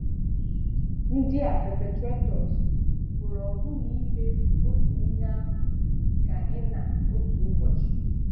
Ndị a perpetrators pụrụ ọbụ̀na ime otu ihe ahụ ka ị na otu ụbọchị.